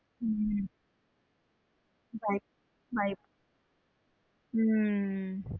உம் உம்